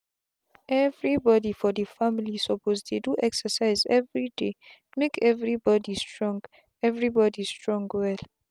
everybody for the family suppose they do excercise everydaymake everybody strong everybody strong well.